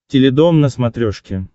теледом на смотрешке